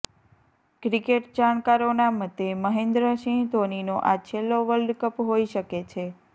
cricket જાણકારોના મતે મહેન્દ્રસિંહ ધોનીનો આ છેલ્લો વર્લ્ડ કપ હોય શકે છે